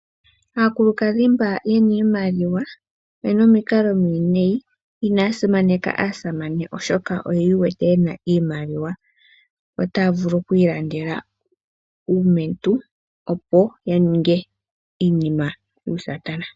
Aakulukadhi mboka yena iimaliwa oyena omikalo omiwinayi, inaya simaneka aasamane oshoka oyi iwete yena iimaliwa. Otaya vulu oku ilandela uumetu opo ya ninge iinima yuusatana.